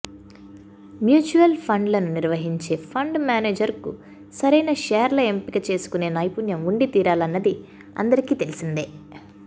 mutual ఫండ్లను నిర్వహించే fund manager కు సరైన షేర్ల ఎంపిక చేసుకునే నైపుణ్యం ఉండితీరాలన్నది అందరికీ తెలిసిందే